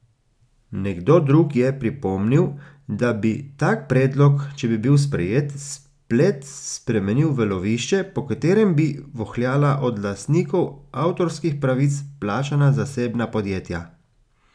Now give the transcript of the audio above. Nekdo drug je pripomnil, da bi tak predlog, če bi bil sprejet, splet spremenil v lovišče, po katerem bi vohljala od lastnikov avtorskih pravic plačana zasebna podjetja.